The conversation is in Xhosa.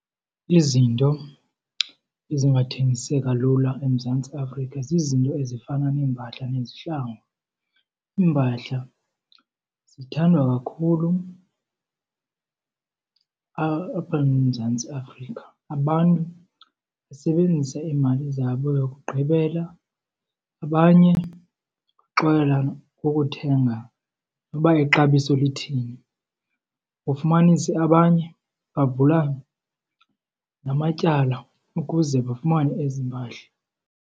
Izinto ezingathengiseka lula eMzantsi Afrika zizinto ezifana neempahla nezihlangu. Iimpahla zithandwa kakhulu apha eMzantsi Afrika. Abantu basebenzisa iimali zabo zokugqibela abanye baxolela ukuthenga noba ixabiso lithini. Ufumanise abanye bavula namatyala ukuze bafumane ezi mpahla.